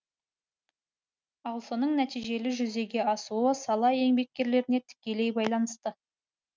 ал соның нәтижелі жүзеге асуы сала еңбеккерлеріне тікелей байланысты